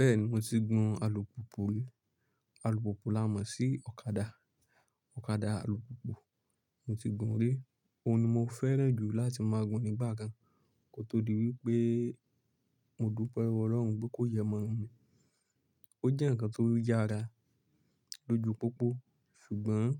Bẹ́ẹ̀ni, mo ti gun alùpùpù rí. Alùpùpù la mọ̀ sí ọ̀kadà, ọ̀kadà alùpùpù mo ti gun rí. Ó ní mo fẹ́ràn jù láti máa gun nígbà kan kó tó di wípé mo dúpẹ́ lowo ọlọ́run pé kó yii mọ́ mi. Ó jẹ́ ǹkan tó yára lójú pópó ṣùgbọ́n